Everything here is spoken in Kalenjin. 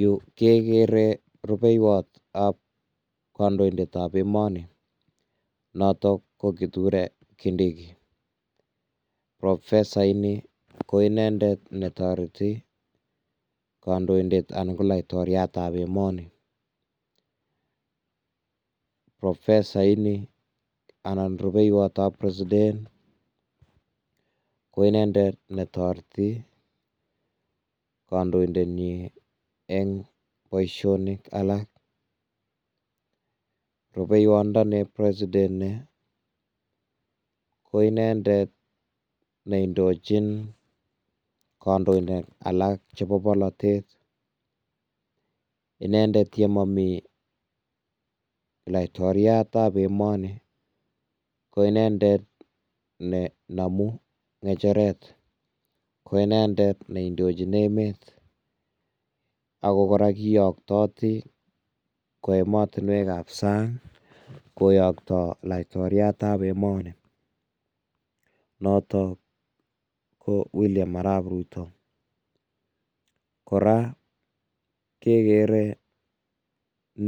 Yu kegere rupeiywotab kandoindetab emoni noto ko, Kiture Kindiki. Profesaini ko inendet n toreti kandoindet anan ko laitoriatab emoni. Profesaini anan rupeiyotab President ko inendet ne toreti kandoindetnyin eng boisiosiek alak. Rupeiywotndoniep President ko inendet ne indochin kandoinik alak chebo bolotet. Inendet ye mami laitoriatab emoni ko inendet ne namu ngecheret. Ko inendet ne indochin emet ago kora kiyaktati kwo emotinwekab sang, koyokto laitoriatab emoni, notok ko William Arap Rutto. Kora kegere